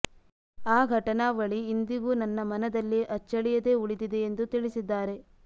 ಆ ಘಟನಾವಳಿ ಇಂದಿಗೂ ನನ್ನ ಮನದಲ್ಲಿ ಅಚ್ಚಳಿಯದೇ ಉಳಿದಿದೆ ಎಂದು ತಿಳಿಸಿದ್ದಾರೆ